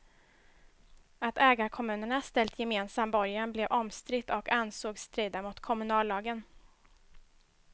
Att ägarkommunerna ställt gemensam borgen blev omstritt och ansågs strida mot kommunallagen.